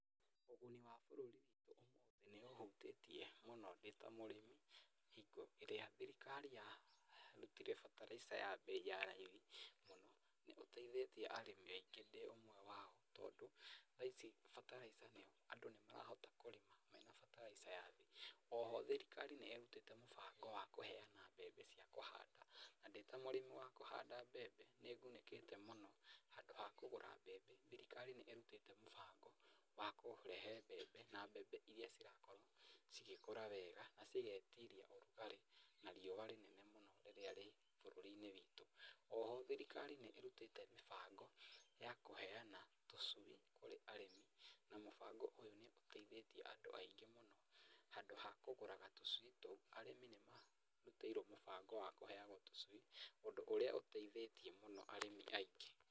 Ũguni wa bũrũri nĩũhutĩtie mũno ndĩ ta mũrĩmi. Hingo ĩrĩa thirikari yarutire bataraica ya mbei ya raithi mũno, nĩũteithĩtie arĩmi aingĩ ndĩ ũmwe wao tondũ thaa ici bataraitha andũ nĩmarahota kũrĩma mena bataraitha ya thĩ. Oho thirikari nĩĩrutĩte mũbango wa kũheana mbembe cia kũhanda, na ndĩ ta mũrĩmi wa kũhanda mbembe nĩngunĩkĩte mũno handũ ha kũgũra mbembe, thirikari nĩĩrutĩte mũbango wa kũrehe mbembe na mbembe iria cirakorwo cigĩkũra wega, na cigetiria ũrugarĩ na riũa rĩnene mũno rĩrĩa rĩ bũrũri-inĩ witũ. Oho thirikari nĩĩrutĩte mĩbango ya kũheana tũcui kũrĩ arĩmi na mũbango ũyũ nĩũteithĩtie andũ aingĩ mũno handũ ha kũgũraga tũcui tũu arĩmi nĩmarutĩirwo mũbango wa kũheagwo tũcui, ũndũ ũrĩa ũteithĩtie mũno arĩmi aingĩ.